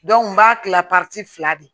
n b'a kila fila de